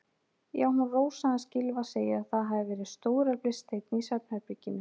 Já, hún Rósa hans Gylfa segir að það hafi verið stóreflis steinn í svefnherberginu.